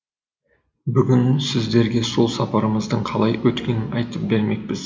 бүгін сіздерге сол сапарымыздың қалай өткенін айтып бермекпіз